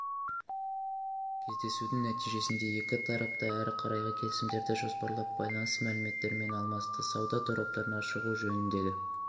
кездесудің нәтижесінде екі тарап та әрі қарайғы келісімдерді жоспарлап байланыс мәліметтерімен алмасты сауда тораптарына шығу жөніндегі